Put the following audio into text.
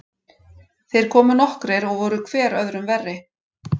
Þeir komu nokkrir og voru hver öðrum verri.